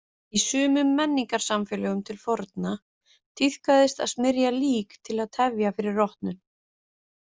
Í sumum menningarsamfélögum til forna tíðkaðist að smyrja lík til að tefja fyrir rotnun.